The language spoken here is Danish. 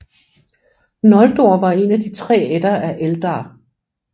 Noldor var en af de tre ætter af Eldar